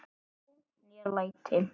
lá né læti